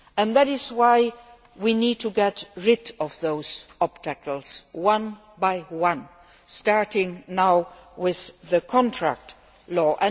That is why we need to get rid of those obstacles, one by one, starting now with contract